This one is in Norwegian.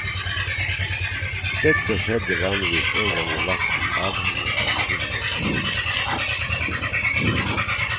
Dette skjedde vanligvis en gang i vakten avhengig av kullenes kvalitet.